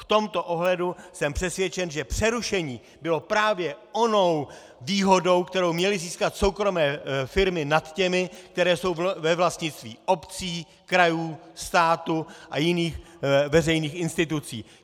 V tomto ohledu jsem přesvědčen, že přerušení bylo právě onou výhodou, kterou měly získat soukromé firmy nad těmi, které jsou ve vlastnictví obcí, krajů, státu a jiných veřejných institucí.